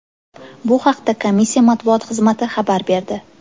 Bu haqda komissiya matbuot xizmati xabar berdi .